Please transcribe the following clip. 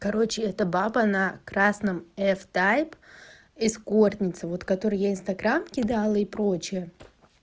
короче это баба на красном эф тайп эскортница вот которая я инстаграм и дала и прочее